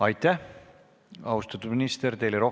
Aitäh, austatud minister!